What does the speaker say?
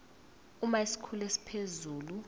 uma isikhulu esiphezulu